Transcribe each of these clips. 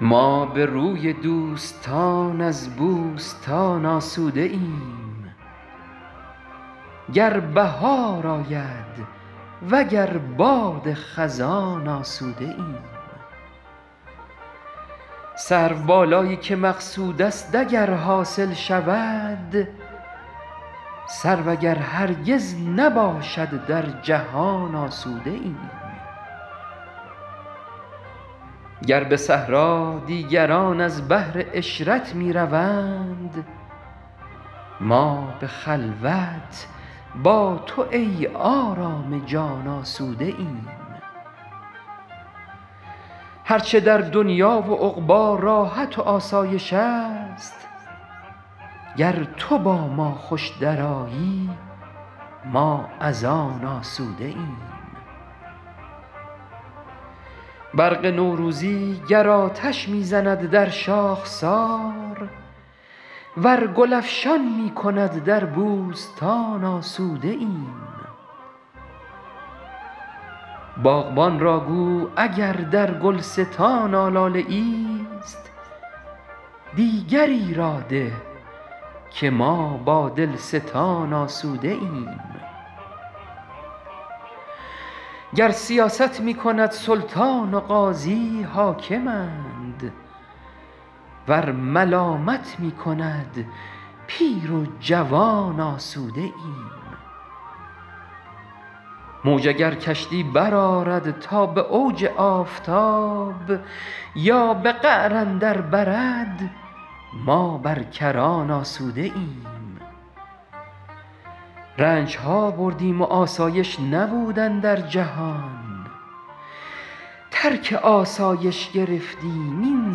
ما به روی دوستان از بوستان آسوده ایم گر بهار آید وگر باد خزان آسوده ایم سروبالایی که مقصود است اگر حاصل شود سرو اگر هرگز نباشد در جهان آسوده ایم گر به صحرا دیگران از بهر عشرت می روند ما به خلوت با تو ای آرام جان آسوده ایم هر چه در دنیا و عقبی راحت و آسایش است گر تو با ما خوش درآیی ما از آن آسوده ایم برق نوروزی گر آتش می زند در شاخسار ور گل افشان می کند در بوستان آسوده ایم باغبان را گو اگر در گلستان آلاله ایست دیگری را ده که ما با دلستان آسوده ایم گر سیاست می کند سلطان و قاضی حاکمند ور ملامت می کند پیر و جوان آسوده ایم موج اگر کشتی برآرد تا به اوج آفتاب یا به قعر اندر برد ما بر کران آسوده ایم رنج ها بردیم و آسایش نبود اندر جهان ترک آسایش گرفتیم این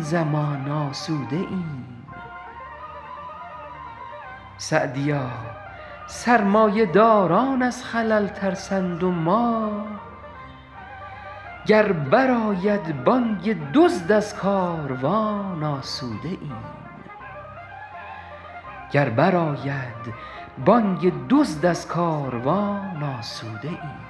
زمان آسوده ایم سعدیا سرمایه داران از خلل ترسند و ما گر بر آید بانگ دزد از کاروان آسوده ایم